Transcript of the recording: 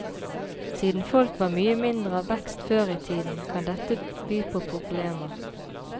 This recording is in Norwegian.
Siden folk var mye mindre av vekst før i tida, kan dette by på problemer.